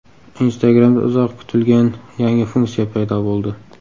Instagram’da uzoq kutilgan yangi funksiya paydo bo‘ldi.